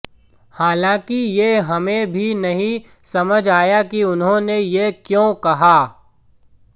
हालांकि ये हमे भी नहीं समझ आया कि उन्होंने ये क्यों कहा